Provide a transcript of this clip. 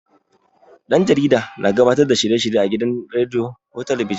Ɗan jarida na gabatar da shirye-shirye a gidan rediyo ko talabijin.